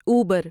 Uber